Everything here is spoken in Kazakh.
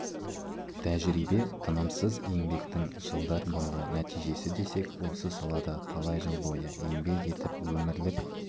тәжірибе тынымсыз еңбектің жылдар бойғы нәтижесі десек осы салада талай жыл бойы еңбек етіп өмірлік